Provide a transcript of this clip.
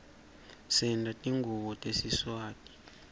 senta tingubo tesiswati